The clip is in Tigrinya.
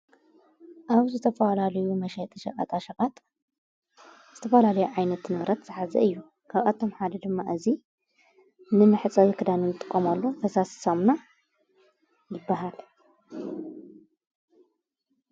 ኣብ ዝተፈላልዩ መሸጢ ሸቀጣ ሸቓጥ ዝተፈላለዩ ዓይነት ንብረት ኣሓዘይ እዩ ካብኣቶም ሓደ ድማ እዙይ ንን ሕፀ ዝክዳኑን ጥቖምሉ ተሳስሳምና ይብሃል።